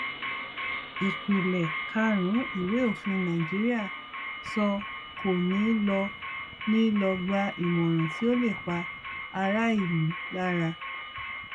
ìpìlẹ karùnún ìwé òfin nàìjíríà sọ kò ní lọ ní lọ gbà ìmọràn tí ó lè pa ará ìlú lára